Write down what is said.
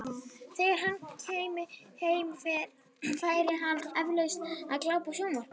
Þegar hann kæmi heim, færi hann eflaust að glápa á sjónvarp.